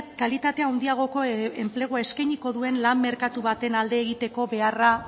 kalitate handiagoko enplegua eskainiko duen lan merkatu baten alde egiteko beharra